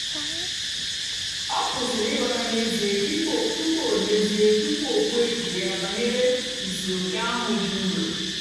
ọ kwụ́sị̀rì ị̀ghọ́ta n'ézìè tupu o n'ézìè tupu o kwùó èchìchè ya bànyèrè ìsìòké ahụ́ dị́ nrọ́.